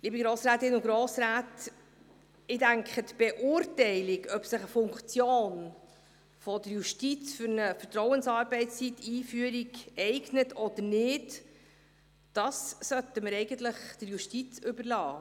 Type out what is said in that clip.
Liebe Grossrätinnen und Grossräte, ich denke, eigentlich sollten wir die Beurteilung, ob sich die Einführung der Vertrauensarbeitszeit für eine Funktion der Justiz eignet oder nicht, der Justiz überlassen.